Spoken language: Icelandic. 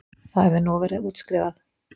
Það hefur nú verið útskrifað